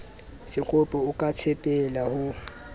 sekgopi o ka tshepela ho